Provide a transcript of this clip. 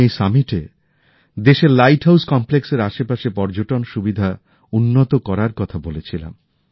আমি এই শীর্ষ সম্মেলনে দেশের লাইট হাউস কমপ্লেক্সের আশেপাশে পর্যটনের সুবিধা উন্নত করার কথা বলেছিলাম